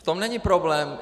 V tom není problém.